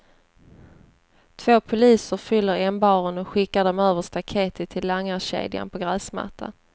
Två poliser fyller ämbaren och skickar dem över staketet till langarkedjan på gräsmattan.